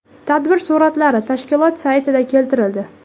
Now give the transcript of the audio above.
Tadbir suratlari tashkilot saytida keltirildi.